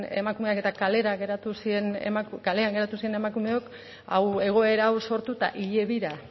emakumeak eta kalean geratu ziren emakumeok egoera hau sortuta hile bira